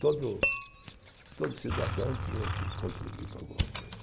Todo, todo cidadão tinha que contribuir com alguma coisa.